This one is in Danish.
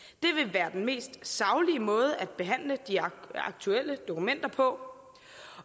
være den mest saglige måde at behandle de aktuelle dokumenter på